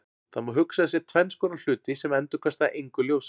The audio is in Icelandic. Það má hugsa sér tvenns konar hluti sem endurkasta engu ljósi.